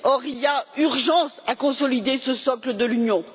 Or, il y a urgence à consolider ce socle de l'Union.